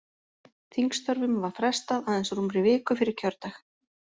Þingstörfum var frestað aðeins rúmri viku fyrir kjördag.